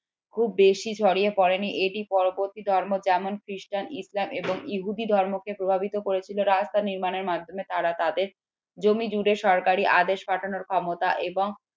খুব বেশি ছড়িয়ে পড়েনি এটি পরবর্তী ধর্ম যেমন ক্রিস্টান ইসলাম এবং ইহুদি ধর্মকে প্রভাবিত করেছিল রাস্তা নির্মাণের মাধ্যমে তারা তাদের জমি জুড়ে সরকারের আদেশ পাঠানোর ক্ষমতা এবং